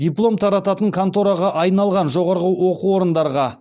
диплом тарататын контораға айналған жоғарғы оқу орындарға